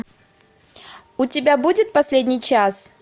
у тебя будет последний час